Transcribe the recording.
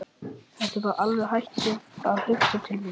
Ertu bara alveg hættur að hugsa til mín?